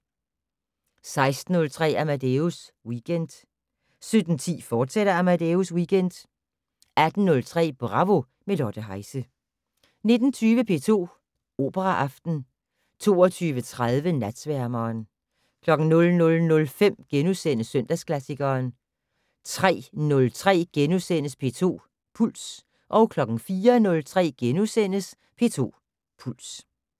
16:03: Amadeus Weekend 17:10: Amadeus Weekend, fortsat 18:03: Bravo - med Lotte Heise 19:20: P2 Operaaften 22:30: Natsværmeren 00:05: Søndagsklassikeren * 03:03: P2 Puls * 04:03: P2 Puls *